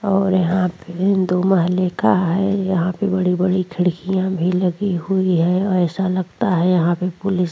और यहां पे दो महले का है यहां पे बड़ी-बड़ी खिड़कियां भी लगी हुई है ऐसा लगता है यहां पे पुलिस --